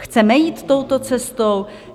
Chceme jít touto cestou?